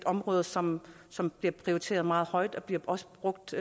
område som som bliver prioriteret meget højt og det bliver også brugt